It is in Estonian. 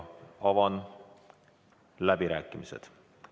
Avan läbirääkimised.